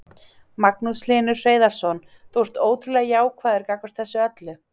Magnús Hlynur Hreiðarsson: Þú ert ótrúlega jákvæður gagnvart þessu öllu?